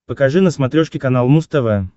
покажи на смотрешке канал муз тв